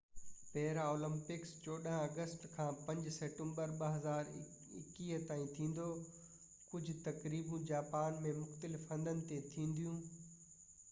پيرا Olympics 14 August کان 5 September 2021 تائين ٿيندو ڪجهہ تقريبون جاپان ۾ مختلف هنڌن تي ٿينديون